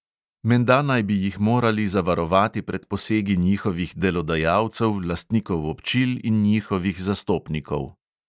Menda naj bi jih morali zavarovati pred posegi njihovih delodajalcev, lastnikov občil in njihovih zastopnikov.